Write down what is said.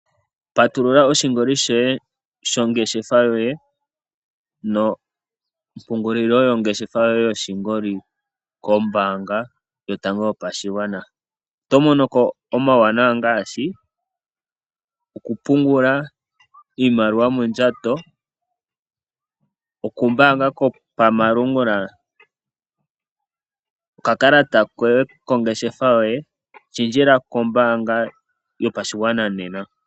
Patulula oshingoli shongeshefa yoye nompungulilo yotango yopashigwana. Oto monoko omauwanawa ngaashi okupungula iimaliwa mondjato, oku mbaanga kwopamalungula, okakalata kongeshefa yoye shendjela kombaanga yopashigwana nena.